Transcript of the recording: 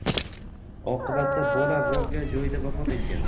Oqibatda bola voqea joyida vafot etgan.